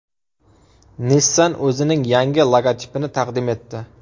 Nissan o‘zining yangi logotipini taqdim etdi.